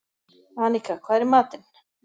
Anika, hvað er í matinn?